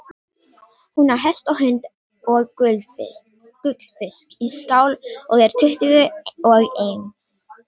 Hún á hest og hund og gullfisk í skál og er tuttugu og eins.